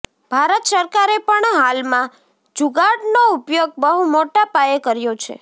ભારત સરકારે પણ હાલમાં જુગાડનો ઉપયોગ બહુ મોટા પાયે કર્યો છે